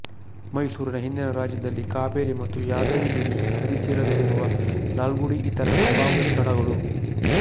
ಮೈಸೂರಿನ ಹಿಂದಿನ ರಾಜ್ಯದಲ್ಲಿ ಕಾವೇರಿ ಮತ್ತು ಯಾದವಿಗಿರಿ ನದಿ ತೀರದಲ್ಲಿರುವ ಲಾಲ್ಗುಡಿ ಇತರ ಸಂಭಾವ್ಯ ಸ್ಥಳಗಳು